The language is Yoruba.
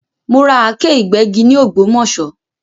Mo ra Àáké ìgbẹ́gi ni ògbómòṣó